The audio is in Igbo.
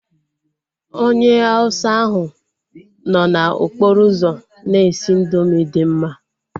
Onye Hauwsa ahu nọ n'okporo ụzọ na-esi indoomị dị mma